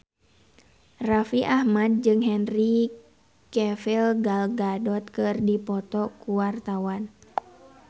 Raffi Ahmad jeung Henry Cavill Gal Gadot keur dipoto ku wartawan